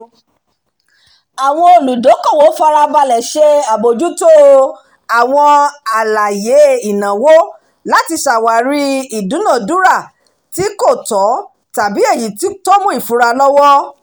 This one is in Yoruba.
àwọn olùdókòwò farabalẹ̀ ṣe àbójútó àwọn àlàyé ìnáwó láti ṣàwárí ìdúnadúrà tí kò tọ́ tàbí èyí tó mú ìfura lọ́wọ́